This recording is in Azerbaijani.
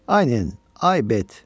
"Ay Nen, ay Bet!